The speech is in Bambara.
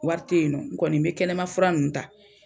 Wari tɛ yen nɔ, n kɔni bɛ kɛnɛmafuran ninnu ta.